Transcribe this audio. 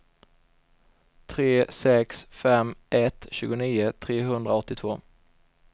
tre sex fem ett tjugonio trehundraåttiotvå